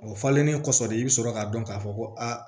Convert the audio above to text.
O falennen kɔfɛ de i bi sɔrɔ k'a dɔn k'a fɔ ko aa